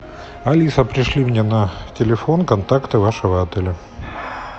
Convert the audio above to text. алиса пришли мне на телефон контакты вашего отеля